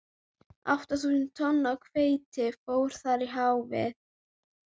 Átta þúsund tonn af hveiti fóru þar í hafið.